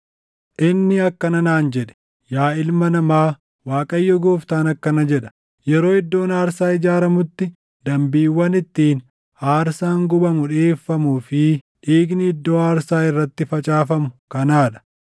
Inni akkana naan jedhe; “Yaa ilma namaa, Waaqayyo Gooftaan akkana jedha: Yeroo iddoon aarsaa ijaaramutti dambiiwwan ittiin aarsaan gubamu dhiʼeeffamuu fi dhiigni iddoo aarsaa irratti facaafamu kanaa dha: